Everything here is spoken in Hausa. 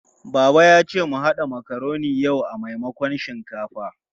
Baba ya ce mu haɗa makaroni yau a maimakon shinkafa.